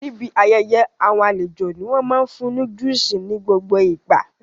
Níbi ayẹyẹ àwọn àlejò ní wọ́n máa fún ní juice nigbogbo ìgbà